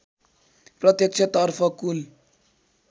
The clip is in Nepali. प्रत्यक्ष तर्फ कुल